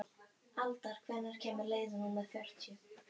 Aldar, hvenær kemur leið númer fjörutíu?